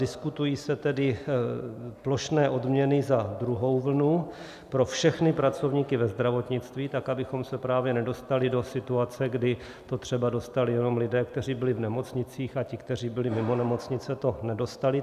Diskutují se tedy plošné odměny za druhou vlnu pro všechny pracovníky ve zdravotnictví, tak abychom se právě nedostali do situace, kdy to třeba dostali jenom lidé, kteří byli v nemocnicích, a ti, kteří byli mimo nemocnice, to nedostali.